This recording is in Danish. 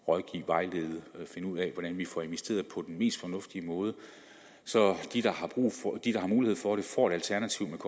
rådgive og vejlede i at finde ud af hvordan vi får investeret på den mest fornuftige måde så de der har mulighed for det får et alternativ